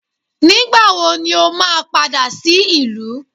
Ngbà wọ̀ ní ọ máa padà sí ìlú?